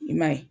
I m'a ye